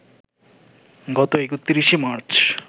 গত ৩১ মার্চ